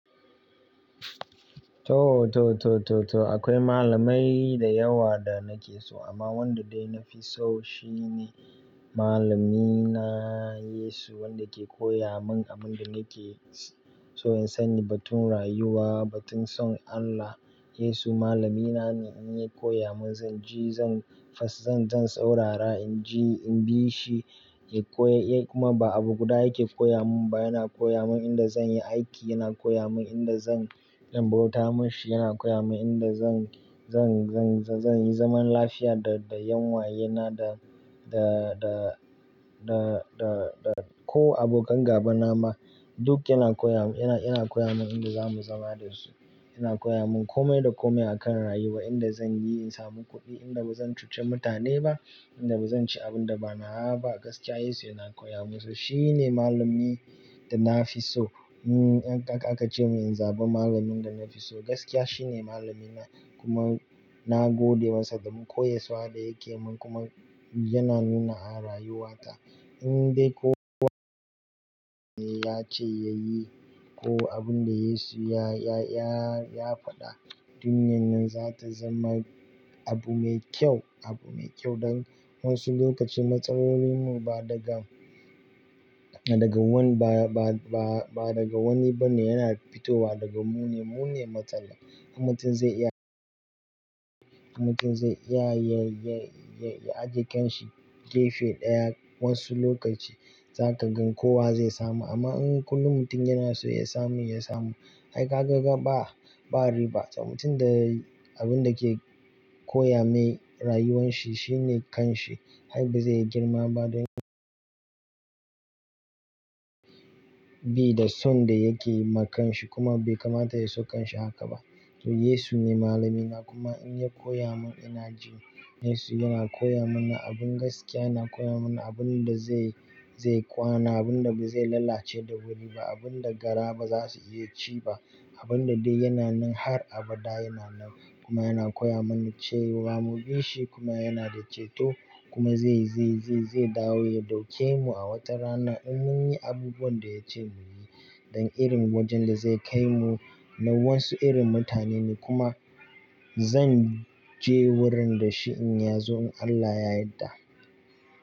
To, to, to, to, to akwai malamai da yawa da nake so amma wanda dai na fi so shine malamina Yesu wanda ke koya mun abin da nake so in sani batun rayuwa, batun son Allah. Yesu malamina ne in ya koya mun zan ji zan fas, zan, zan saurara in ji, in bi shi, ya koyay kuma ba abu guda yake koya mun ba, yana koya mun inda zan yi aiki, yana koya mun inda zan dan bauta mashi, yana koya mun inda zan, zan, zan, zan yi zaman lafiya da, da yanuwayena da, da, da, da, da, da ko abokan gaba na ma duk yana koya mun, yana, yana koya mun inda zamuyi zama dasu. Yana koya mun komai da komai akan rayuwa, inda zan yi in samu kuɗi, inda bazan cuce mutane ba, inda bazan ci abun da ba nawa ba gaskiya Yesu yana koya mun so shine malami da na fi so. To in aka, aka ce mun in zaɓi malamin da na fi so gaskiya shine malamina kuma na gode masa damin koyaswa da yake mun kuma yana nuna a rayuwa ta. In dai kowa ya yi abin da ya ce ya yi ko abun da Yesu ya, ya, ya, ya faɗa duniyar nan za ta zama abu mai kyau, abu mai kyau don wasu lokaci matsalolin mu ba daga, daga wani ba, ba, ba, ba daga wani ba ne yana fitowa daga mu ne, mu ne matsala. In mutum zai iya, in mutum zai iya ya, ya, ya, ya ajiye ƙyan shi gefe ɗaya wasu lokaci za ka gan kowa zai samu amma in kullum mutum yana so ya samu, ya samu. Ai ka ga, ga ba, ba riba. To mutum da abun da ke koya mai rayuwan shi shine kan shi. Ai bazai yi girma ba don bi da son da yake yi ma kan shi kuma bai kamata ya so kan shi haka ba. To Yesu ne malamina kuma in ya koya mun ina ji. Yesu yana koya mana abun gaskiya, yana koya mana abun da zai, zai kwana, abun da ba zai lalace da wuri ba, abun da gara ba za su iya ci ba, abun da dai yana nan har abada yana nan kuma yana koya mana cewa mu bi shi kuma yana da ceto kuma zai, zai, zai, zai dawo ya ɗauke mu a watarana in mun yi abubuwan da ya ce mu yi don irin wajen da zai kai mu. Na wassu irin mutane ne kuma zan je wurin da shi in yazo in Allah ya yadda.